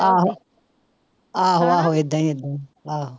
ਆਹੋ ਆਹੋ ਆਹੋ ਏਦਾਂ ਹੀ ਏਦਾਂ ਹੀ ਆਹੋ।